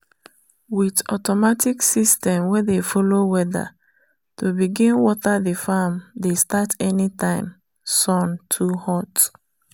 with automatic system wey dey follow weather to begin water the farm dey start anytime sun too hot.